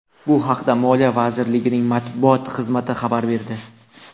Bu haqda Moliya vazirligining matbuot xizmati xabar berdi .